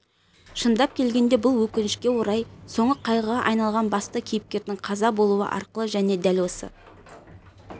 шындап келгенде бұл өкінішке орай соңы қайғыға айналған басты кейіпкердің қаза болуы арқылы және дәл осы